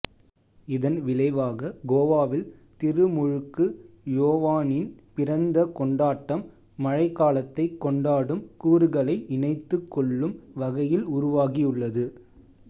இதன் விளைவாக கோவாவில் திருமுழுக்கு யோவானின் பிறந்த கொண்டாட்டம் மழைக்காலத்தை கொண்டாடும் கூறுகளை இணைத்துக்கொள்ளும் வகையில் உருவாகியுள்ளது